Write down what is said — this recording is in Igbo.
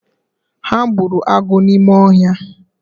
Ha gbụrụ agụ n’ime ọhia